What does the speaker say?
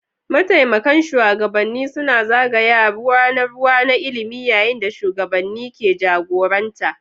Mataimakan shugabanni suna zagaya ruwa na ruwa na ilimi yayin da shugabanni ke jagoranta.